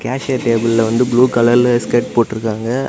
கேசியர் டேபிள்ள வந்து ப்ளூ கலர்ல ஸ்கர்ட் போட்ருக்காங்க.